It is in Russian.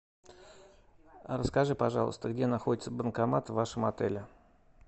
расскажи пожалуйста где находится банкомат в вашем отеле